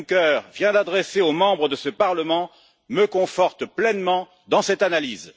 Juncker vient d'adresser aux députés de ce Parlement me confortent pleinement dans cette analyse.